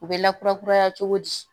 U bɛ lakurakuraya cogo di